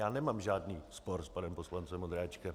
Já nemám žádný spor s panem poslancem Ondráčkem.